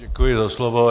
Děkuji za slovo.